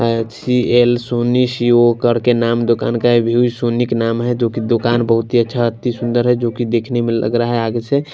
सी L Soni C O करके नाम दुकान का का नाम हैजो कि दुकान बहुत ही अच्छा अति सुंदर है जो कि देखने में लग रहा हैआगे से.--